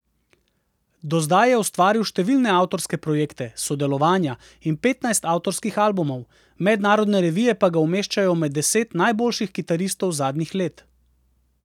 Do zdaj je ustvaril številne avtorske projekte, sodelovanja in petnajst avtorskih albumov, mednarodne revije pa ga umeščajo med deset najboljših kitaristov zadnjih let.